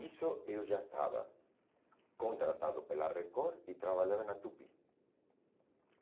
Isso eu já estava contratado pela Record e trabalhava na Tupi.